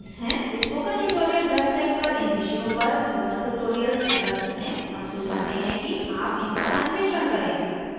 spoken tutorial website पर इन विषयों पर spoken tutorials उपलब्ध हैं हम सुझाते हैं कि आप इनका अन्वेषण करें